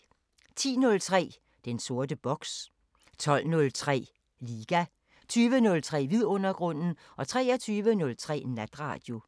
10:03: Den sorte boks 12:03: Liga 20:03: Vidundergrunden 23:03: Natradio